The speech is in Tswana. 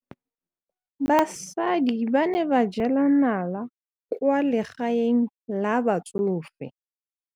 Basadi ba ne ba jela nala kwaa legaeng la batsofe.